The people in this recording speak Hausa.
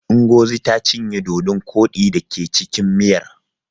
Ingozi ta cinye dodon koɗi da ke cikin miyar.